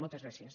moltes gràcies